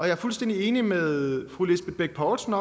er fuldstændig enig med fru lisbeth bech poulsen